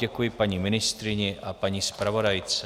Děkuji paní ministryni a paní zpravodajce.